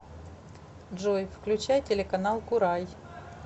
джой включай телеканал курай